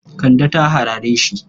Kande ta harare shi.